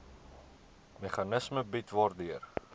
meganisme bied waardeur